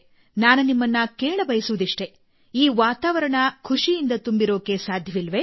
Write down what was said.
ನಾನು ನಿಮ್ಮನ್ನು ಕೇಳಬಯಸುವುದಿಷ್ಟೇ ಈ ವಾತಾವರಣ ಖುಷಿಯಿಂದ ತುಂಬಿರಲು ಸಾಧ್ಯವಿಲ್ಲವೇ